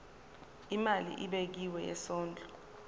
imali ebekiwe yesondlo